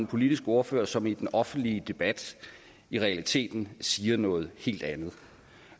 politisk ordfører som i den offentlige debat i realiteten siger noget helt andet